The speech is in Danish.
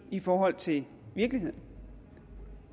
i forhold til virkeligheden